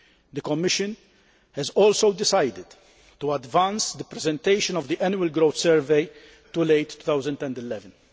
The Commission has also decided to advance the presentation of the Annual Growth Survey to late 2011.